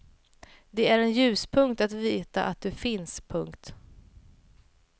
Det är en ljuspunkt att veta att du finns. punkt